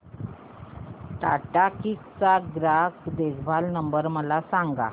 Tata Cliq चा ग्राहक देखभाल नंबर मला सांगा